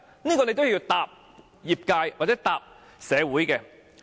這是你都要回答業界或社會的問題。